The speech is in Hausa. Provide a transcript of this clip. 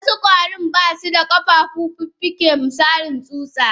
Wasu kwarin basuda kafa ko fuffuke misali tsuta.